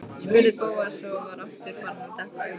spurði Bóas og var aftur farinn að depla augunum.